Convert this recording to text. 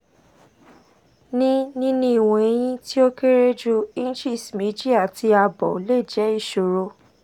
ni nini iwọn ẹyin ti o kere ju inches meji ati abo le jẹ iṣoro